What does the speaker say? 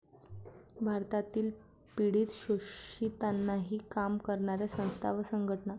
भारतातील पीडित, शोषितांसाठी काम करणाऱ्या संस्था व संघटना